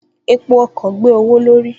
Epo ọkọ̀ gbé owó l'órí